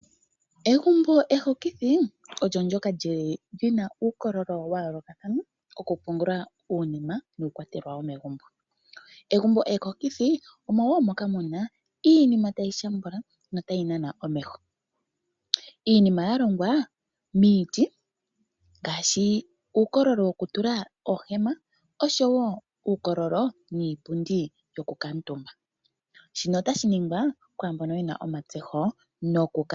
Egumbo ehokithi, olyo ndoka lyili lyi na uukololo wa yoolokathana oku pungula uunima nuukwatelwa womegumbo. Egumbo ehokithi omo wo moka mu na iinima tayi shambula notayi hokitha. Iinima ya longwa miiti ngaashi uukololo woku tula oohema oshowo uukololo niipundi yokukamutumba. Shino otashi ningwa kwaamboka ye na omatsetho moku kala.